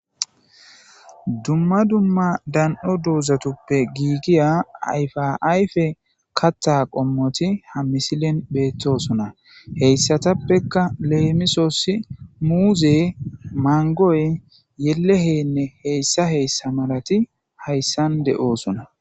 Dumma dumma dani'o doozatuppe giigiya ayfa ayfe kaththa qommoti ha misilen beettosona. Hessatappekka leemisos muuzey, mangoy, leleheynne heyssa heyssa malati hayssan beettosona.